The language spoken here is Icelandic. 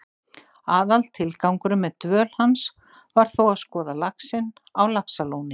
Aðaltilgangurinn með dvöl hans var þó að skoða laxinn á Laxalóni.